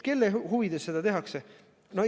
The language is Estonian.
Kelle huvides seda tehakse?